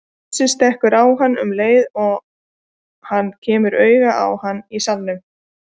Bjössi stekkur á hann um leið og hann kemur auga á hann í salnum.